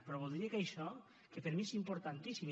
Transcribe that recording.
però voldria que això que per mi és importantíssim